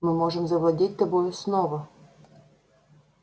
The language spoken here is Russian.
мы можем завладеть тобою снова